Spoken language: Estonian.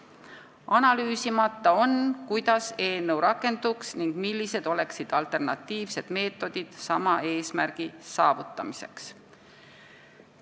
Analüüsimata on, kuidas eelnõu rakenduks ning millised oleksid alternatiivsed meetodid sama eesmärgi saavutamiseks.